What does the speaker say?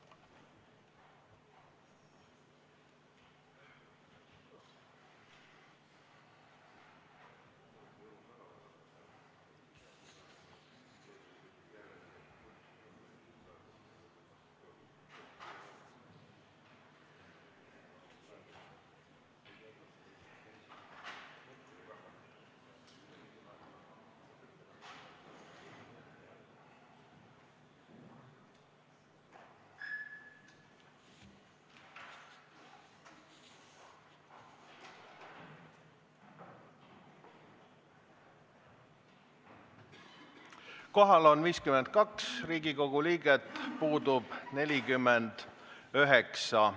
Kohaloleku kontroll Kohal on 52 Riigikogu liiget, puudub 49.